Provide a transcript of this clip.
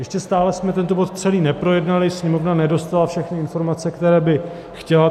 Ještě stále jsme tento bod celý neprojednali, Sněmovna nedostala všechny informace, které by chtěla.